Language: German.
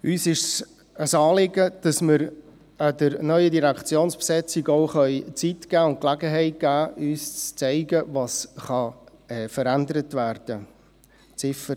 Uns ist es ein Anliegen, dass wir der neuen Direktionsbesetzung auch Zeit und Gelegenheit geben können, uns zu zeigen, was verändert werden kann.